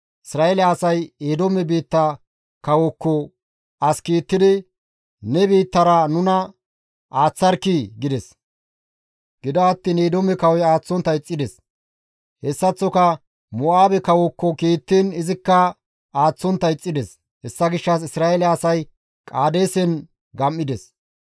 Isra7eele asay Eedoome biitta kawookko as kiittidi, ‹Ne biittara nuna aaththarkkii!› gides; gido attiin Eedoome kawoy aaththontta ixxides; hessaththoka Mo7aabe kawookko kiittiin izikka aaththontta ixxides; hessa gishshas Isra7eele asay Qaadeesen gam7ides.